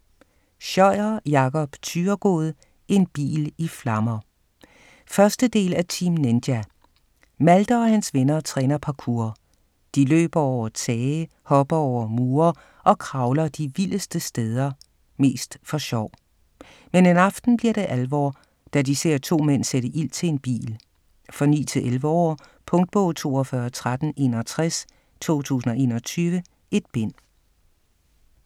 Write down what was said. Scheuer, Jakob Thyregod: En bil i flammer 1. del af Team Ninja. Malte og hans venner træner parkour. De løber over tage, hopper over mure og kravler de vildeste steder - mest for sjov. Men en aften bliver det alvor, da de ser to mænd sætte ild til en bil. For 9-11 år. Punktbog 421361 2021. 1 bind.